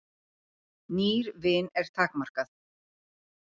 Nýr vin er takmarkað.